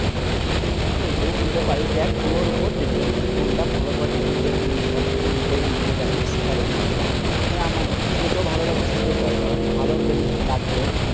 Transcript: হ্যাঁ ঐটাও খুলতে পাড়িস। দেখ তুর উপর Depend তুই কোনটা ভালো পাড়বি নিজে। সব থেকে নিজেই নিজেকে ভালো জানিস। কারণ আমার তুকে যেটাও ভালো লাগবে সেটাও কর। ভালো জিনিস লাগবে।